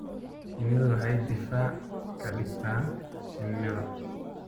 Shinnidu waxay difaac ka dhigtaa shinnida.